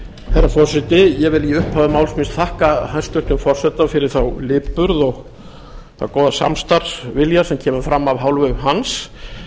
herra forseti ég vil í upphafi máls míns þakka hæstvirtum forseta fyrir þá lipurð og þann góða samstarfsvilja sem kemur fram af hálfu hans